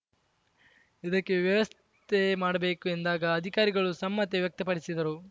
ಇದಕ್ಕೆ ವ್ಯವಸ್ಥೆ ಮಾಡಬೇಕು ಎಂದಾಗ ಅಧಿಕಾರಿಗಳು ಸಮ್ಮತಿ ವ್ಯಕ್ತಪಡಿಸಿದರು